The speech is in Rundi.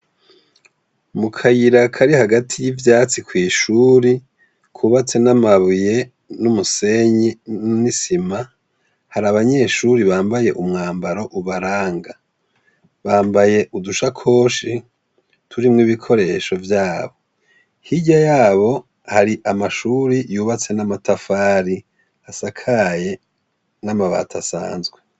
Mu kayira kari hagati y'ivyatsi kw'ishuri kubatse n'amabuye n'umusenyi n'isima, hari abanyeshuri bambaye umwambaro ubaranga, bambaye udushakoshi turimwo ibikoresho vyabo, hirya yabo hari amashuri yubatse n'amatafari asakaye n'amabati asanzwe.